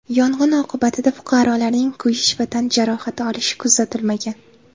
Yong‘in oqibatida fuqarolarning kuyish va tan jarohati olishi kuzatilmagan.